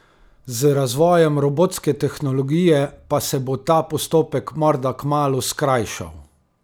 Z razvojem robotske tehnologije pa se bo ta postopek morda kmalu skrajšal.